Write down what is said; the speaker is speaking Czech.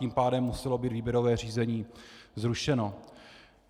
Tím pádem muselo být výběrové řízení zrušeno.